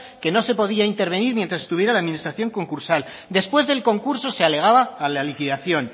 que no se podía intervenir mientras estuviera la administración concursal después del concurso de alegaba a la liquidación